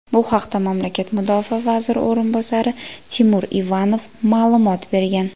Bu haqda mamlakat Mudofaa vaziri o‘rinbosari Timur Ivanov ma’lumot bergan.